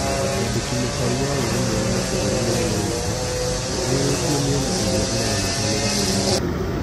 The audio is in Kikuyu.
Mwandĩ ki mũkaru wa ũrũmwe wa mabũrũri Mũnene Nyaga nĩ orĩ tie mĩ ena ĩ rĩ a ĩ rang'ethanĩ ra kwĩ rigĩ rĩ ria.